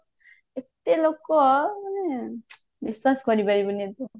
ଏତେ ଲୋକ ମାନେ ବିଶ୍ଵାସ କରିପାରିବୁନି ତୁ